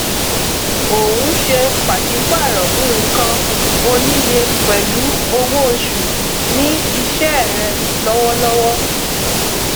ò ń ṣe pàsípààrọ nǹkan oníye pẹlú owóoṣù ní iṣẹ rẹ lọwọlọwọ